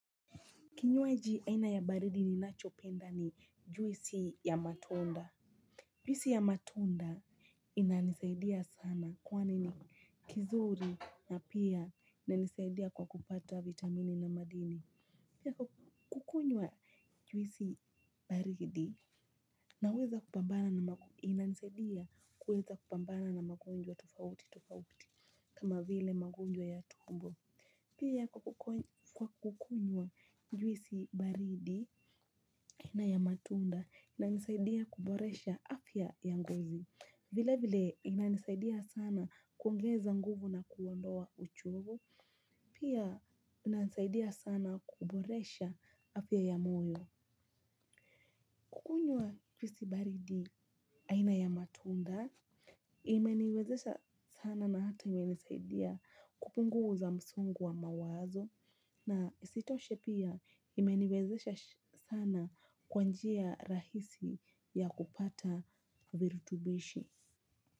Kinywaji aina ya baridi ninachopenda ni juisi ya matunda. Juisi ya matunda inanisaidia sana kwani ni kizuri na pia inanisaidia kwa kupata vitamini na madini. Pia kukunywa juisi baridi naweza kupambana na inanisaidia kuweza kupambana na magonjwa tofauti tofauti. Kama vile magonjwa ya tumbo. Pia kwa kukunywa njuisi baridi na ya matunda inanisaidia kuboresha afya ya ngozi. Vile vile inanisaidia sana kuongeza nguvu na kuondoa uchovu. Pia inansaidia sana kuboresha afya ya moyo. Kukunywa njuisi baridi aina ya matunda. Imeniwezesha sana na ata imenisaidia kupunguza msungu wa mawazo. Na isitoshe pia imeniwezesha sana kwa njia rahisi ya kupata virutubishi.